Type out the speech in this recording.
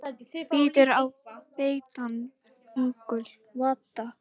Bítur á beittan öngul.